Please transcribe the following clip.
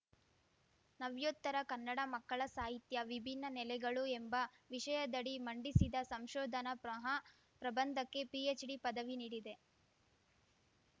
ನವ್ಯೋತ್ತರ ಕನ್ನಡ ಮಕ್ಕಳ ಸಾಹಿತ್ಯ ವಿಭಿನ್ನ ನೆಲೆಗಳು ಎಂಬ ವಿಷಯದಡಿ ಮಂಡಿಸಿದ ಸಂಶೋಧನಾ ಪ್ರಹಾಪ್ರಭಂದಕ್ಕೆ ಪಿಎಚ್‌ಡಿ ಪದವಿ ನೀಡಿದೆ